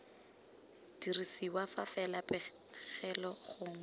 dirisiwa fa fela pegelo gongwe